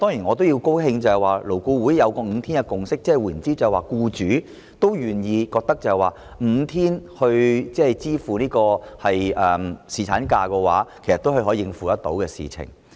我也高興得悉勞顧會得出5天侍產假的共識，即是僱主願意，並且認為5天侍產假的薪酬是可以應付的事情。